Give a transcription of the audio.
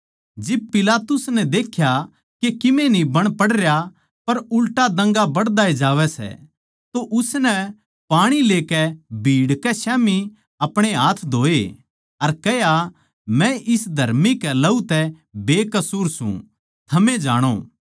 जिब पिलातुस नै देख्या के किमे न्ही बण पडरया पर उल्टा दंगा बढ़दा जावै सै तो उसनै पाणी लेकै भीड़ कै स्याम्ही अपणे हाथ धोए अर कह्या मै इस धर्मी कै लहू तै बेकसूर सूं थमे जाणो